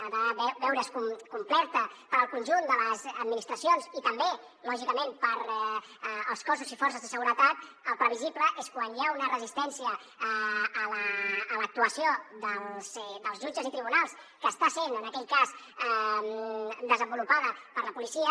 ha de veure’s complerta pel conjunt de les administracions i també lògicament pels cossos i forces de seguretat el previsible és quan hi ha una resistència a l’actuació dels jutges i tribunals que està sent en aquell cas desenvolupada per la policia